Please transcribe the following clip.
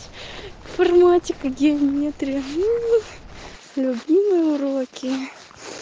информатика геометрия мм любимые уроки